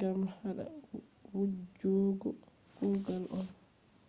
gam hada wujjugo kugal on